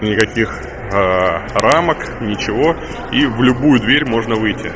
никаких аа рамок ничего и в любую дверь можно выйти